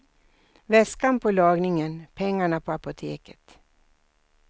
Väskan på lagningen, pengarna på apoteket.